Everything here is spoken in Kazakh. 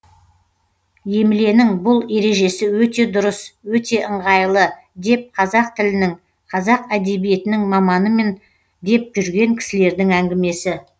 емленің бұл ережесі өте дұрыс өте ыңғайлы деп қазақ тілінің қазақ әдебиетінің маманымын деп жүрген кісілердің әңгімесі